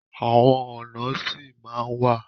Àwọn ọnà sì ma wa.